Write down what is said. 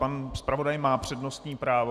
Pan zpravodaj má přednostní právo.